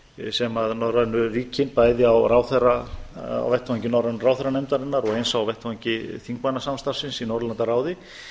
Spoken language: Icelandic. sem norrænu ríkin bæði á vettvangi norrænu ráðherranefndarinnar og eins á vettvangi þingmanna samstarfsins í norðurlandaráði